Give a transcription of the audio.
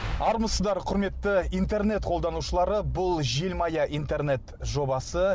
армысыздар құрметті интернет қолданушылары бұл желмая интернет жобасы